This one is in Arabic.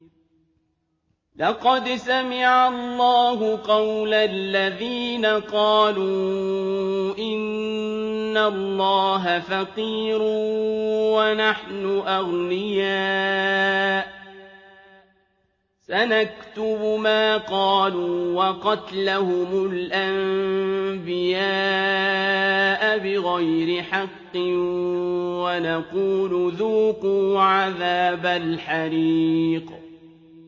لَّقَدْ سَمِعَ اللَّهُ قَوْلَ الَّذِينَ قَالُوا إِنَّ اللَّهَ فَقِيرٌ وَنَحْنُ أَغْنِيَاءُ ۘ سَنَكْتُبُ مَا قَالُوا وَقَتْلَهُمُ الْأَنبِيَاءَ بِغَيْرِ حَقٍّ وَنَقُولُ ذُوقُوا عَذَابَ الْحَرِيقِ